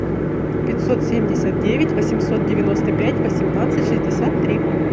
пятьсот семьдесят девять восемьсот девяносто пять восемнадцать шестьдесят три